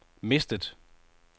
mistet